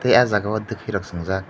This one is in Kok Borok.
tai aw jaaga o twfi rok swng jaak.